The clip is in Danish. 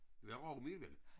Var rugmel